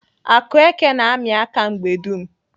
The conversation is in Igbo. Akueke na-amị aka mgbe dum.